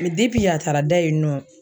yen a taara da yen nɔ.